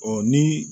Ɔ ni